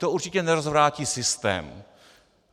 To určitě nerozvrátí systém.